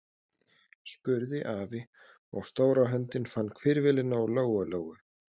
spurði afi, og stóra höndin fann hvirfilinn á Lóu Lóu.